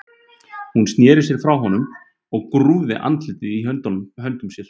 Hún sneri sér frá honum og grúfði andlitið í höndum sér.